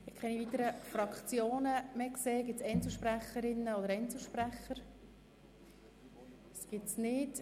Es haben sich keine weiteren Fraktionen und auch keine Einzelsprecher oder Einzelsprecherinnen gemeldet.